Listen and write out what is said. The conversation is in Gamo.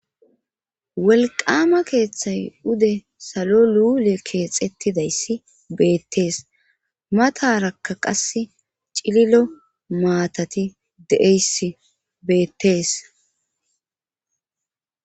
Wolqama keeththay ude salo luule keexettidayssi beettees matarakka qas cililo maatati de''eyssi beettees.